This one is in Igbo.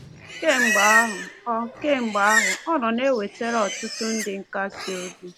Kemgbe ahụ, ọ Kemgbe ahụ, ọ nọ na-ewetara ọtụtụ ndị nkasi obi.